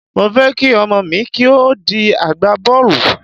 Mo fẹ́ kí ọmọ mi kí ó di agbá bọ́ọ̀lù.